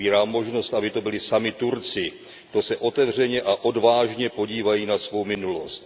Otvírá možnost, aby to byli sami Turci, kdo se otevřeně a odvážně podívají na svou minulost.